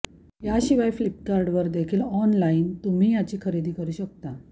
याशिवाय फ्लिपकार्डवर देखील ऑनलाईन तुम्ही याची खरेदी करू शकता